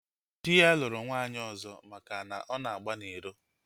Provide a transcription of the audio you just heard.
Dị ya lụrụ nwaanyị ọzọ maka na ọ na-agba n'iro